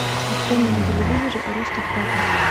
открой мне на телевизоре ростов папа